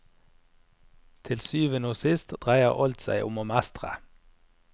Til syvende og sist dreier alt seg om å mestre.